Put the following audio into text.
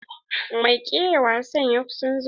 Mai kera wasa ya kusan zuwa.